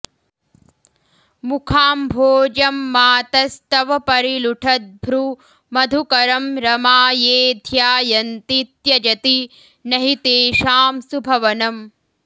मुखाम्भोजम्मातस्तव परिलुठद्भ्रूमधुकरं रमा ये ध्यायन्ति त्यजति नहि तेषां सुभवनम्